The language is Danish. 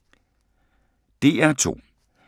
DR2